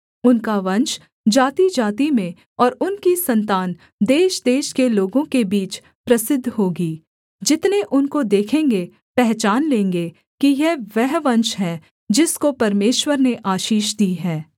उनका वंश जातिजाति में और उनकी सन्तान देशदेश के लोगों के बीच प्रसिद्ध होगी जितने उनको देखेंगे पहचान लेंगे कि यह वह वंश है जिसको परमेश्वर ने आशीष दी है